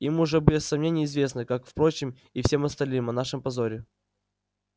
им уже без сомнения известно как впрочем и всем остальным о нашем позоре